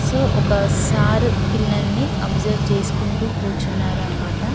So ఒక్క sir పిల్లల్ని observe చేసుకుంటు కూర్చున్నారు అన్నమాట.